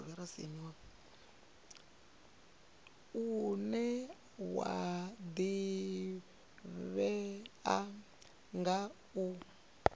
une wa ḓivhea nga u